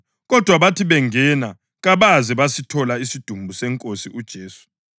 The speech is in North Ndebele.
kodwa bathi bengena kabaze basithola isidumbu seNkosi uJesu.